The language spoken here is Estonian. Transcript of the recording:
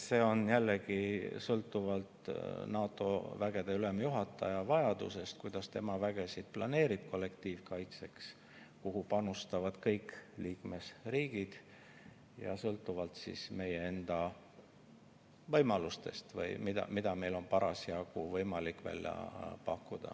See sõltub jällegi NATO vägede ülemjuhataja vajadusest, kuidas tema vägesid planeerib kollektiivkaitseks, kuhu panustavad kõik liikmesriigid, ja meie enda võimalustest või mida meil on parasjagu võimalik välja pakkuda.